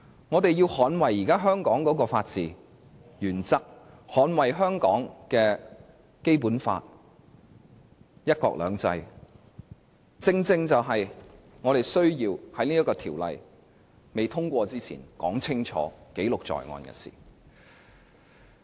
我們要捍衞現時香港的法治原則，捍衞香港的《基本法》、"一國兩制"，這正正是我們需要在條例未通過之前說清楚，記錄在案的事情。